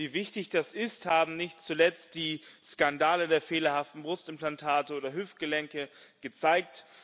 Wie wichtig das ist, haben nicht zuletzt die Skandale der fehlerhaften Brustimplantate oder Hüftgelenke gezeigt.